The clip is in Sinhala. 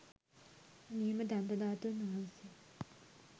නියම දන්තධාතූන් වහන්සේ